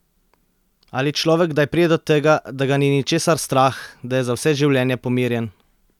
Ali človek kdaj pride do tega, da ga ni ničesar strah, da je za vse življenje pomirjen?